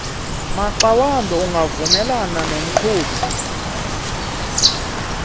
maxawambi ungavumelana nomqhubi